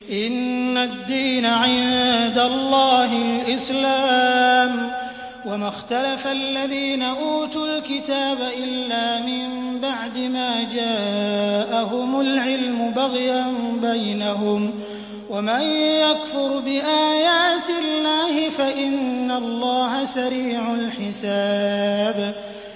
إِنَّ الدِّينَ عِندَ اللَّهِ الْإِسْلَامُ ۗ وَمَا اخْتَلَفَ الَّذِينَ أُوتُوا الْكِتَابَ إِلَّا مِن بَعْدِ مَا جَاءَهُمُ الْعِلْمُ بَغْيًا بَيْنَهُمْ ۗ وَمَن يَكْفُرْ بِآيَاتِ اللَّهِ فَإِنَّ اللَّهَ سَرِيعُ الْحِسَابِ